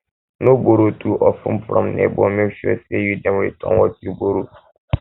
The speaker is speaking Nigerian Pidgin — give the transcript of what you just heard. no borrow too of ten from neighbor make sure say you dey return what you borrow